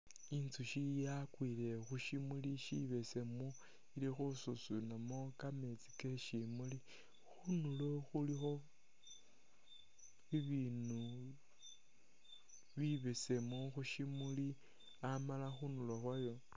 Intsushi yakwile khushimuli shibesemu, ili khususunamo kameetsi keshimuli, khundulo khulikho bibinu bibesemu khushimuli Amala khunuulo khwayo